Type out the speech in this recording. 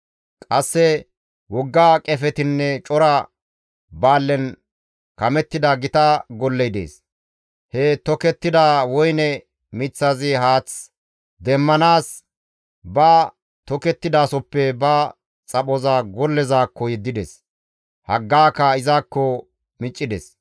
« ‹Qasse wogga qefetinne cora baallen kamettida gita golley dees; he tokettida woyne miththazi haath demmanaas ba tokettidasoppe ba xaphoza gollezaakko yeddides; haggaaka izakko miccides.